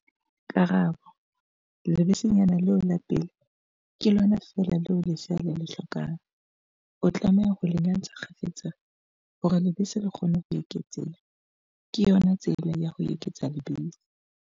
Karabo- Lebesenyana leo la pele, ke lona feela leo lesea le le hlokang. O tlameha ho le nyantsha kgafetsa hore lebese le kgone ho eketseha, ke yona tsela ya ho eketsa lebese.